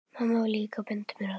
Mamma var líka að benda mér á það.